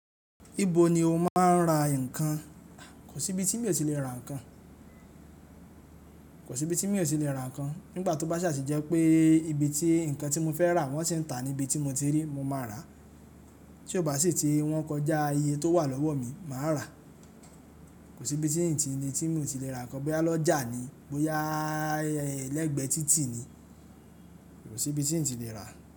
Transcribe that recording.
Ibo ni o máa ń ra ǹkan? Kò sí ibi tí mi ò tí lè ra ǹkan. Kò sí ibi tí mi ò tí lè ra ǹkan. Nígbà tó bá sà sì jẹ́ pé ibi tí ǹkan tí mo fẹ́ rà wọ́n ṣe ń tà ní ibi tí mo ti rí, mo máa rà. Ti ò bá sì tí wọ́n kọjá iye tó wà lọ́wọ́ mi, màá rà. Kò sí ibi tí n ti ní tí mi ò ti lè ra ǹkan. Bóyá lọ́jà ni, bóyá lẹ́gbẹ títì ni, kò sí ibi tí n ti lè rà.